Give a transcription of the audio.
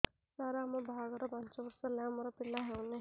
ସାର ଆମ ବାହା ଘର ପାଞ୍ଚ ବର୍ଷ ହେଲା ଆମର ପିଲା ହେଉନାହିଁ